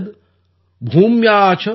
स्वगोभिः मोक्तुम् आरेभे पर्जन्यः काल आगते ||